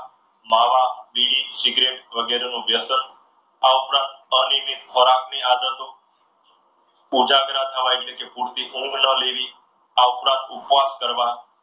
માવા બીડી સિગરેટ વગેરેનો વ્યસન આ ઉપરાંત અનિયમિત ખોરાકની આદતો ઉજાગરા થવા એટલે કે પૂરતી ઊંઘ ન લેવી. આ ઉપરાંત ઉપવાસ કરવા.